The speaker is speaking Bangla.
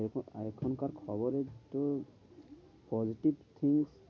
এখন এখন কার খবরের তো positive think